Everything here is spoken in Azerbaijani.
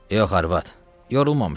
Yox arvad, yorulmamışam.